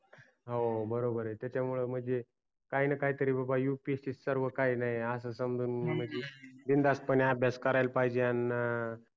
हो बरोबर आहे त्याचा मूळ म्हणजे काही न काही तरी बाबा upsc सर्व काही नाही अस समजून बिनधास पणे अभ्यास करायला पहिजे अन